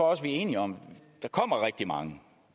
også vi er enige om at der kommer rigtig mange